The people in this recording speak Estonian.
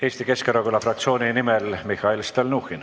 Eesti Keskerakonna fraktsiooni nimel Mihhail Stalnuhhin.